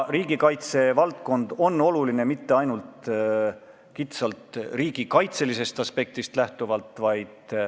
Riigikaitse valdkond pole oluline mitte ainult kitsalt riigikaitselisest aspektist lähtuvalt.